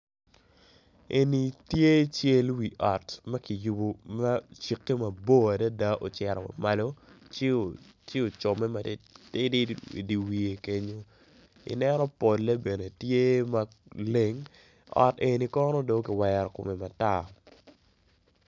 Eni tye cal wi ot ma ki yobo ma ocikke mabor adada ocito malo ci ocome matidi idi wiye kenyo, i neno pole tye maleng, ot eni kono do kwero kome matar.